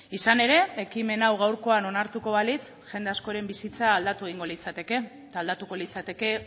izan ere ekimen hau gaurkoa onartuko balitz jende askoren bizitza aldatu egingo litzateke eta aldatuko litzateke